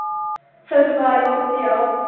ਸੰਸਕਾਰੀ ਬੱਚੇ ਆ ਓ